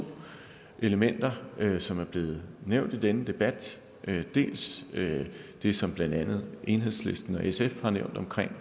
elementer som er blevet nævnt i denne debat dels det som blandt andet enhedslisten og sf har nævnt omkring